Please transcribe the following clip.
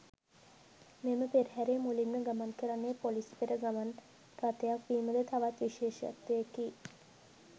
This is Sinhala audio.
මෙම පෙරහරේ මුලින්ම ගමන් කරන්නේ පොලිස් පෙර ගමන් රථයක් වීමද තවත් විශේෂත්වයකි.